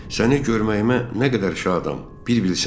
Səni görməyimə nə qədər şadam, bir bilsən.